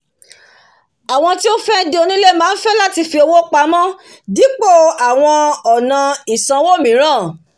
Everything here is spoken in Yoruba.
àwọn tí ó fé di onílé máá fẹ́ láti fi owó pamó dípò àwọ̀n ònà ìsawó mìíràn